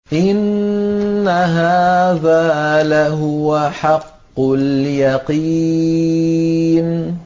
إِنَّ هَٰذَا لَهُوَ حَقُّ الْيَقِينِ